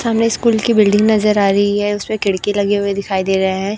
सामने स्कूल की बिल्डिंग नजर आ रही है उसपे खिड़की लगी हुई दिखाई दे रहे हैं।